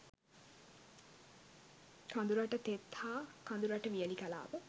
කඳුරට තෙත් හා කඳුරට වියළි කලාප